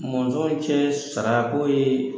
Mɔnzɔn cɛ sarako ye